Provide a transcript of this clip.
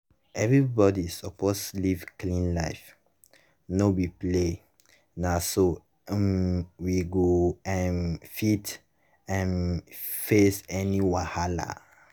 everybody suppose live clean life. no be play. na so um we go um fit um face any wahala.